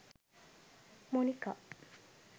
monika